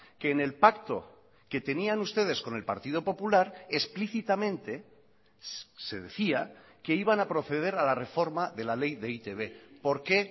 que en el pacto que tenían ustedes con el partido popular explícitamente se decía que iban a proceder a la reforma de la ley de e i te be por qué